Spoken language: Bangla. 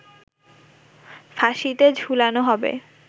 ফাঁসিতে ঝুলানো হবে